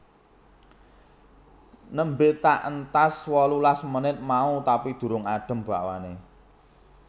Nembe tak entas wolulas menit mau tapi durung adem bakwane